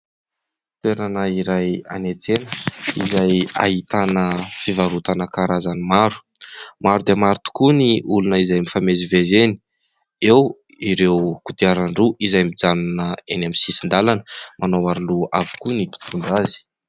Toerana iray any an-tsena izay ahitana fivarotana karazany maro. Maro dia maro tokoa ny olona izay mifamezivezy eny, eo ireo kodiaran-droa izay mijanona eny amin'ny sisin-dalana, manao aro-loha avokoa ny mpitondra azy.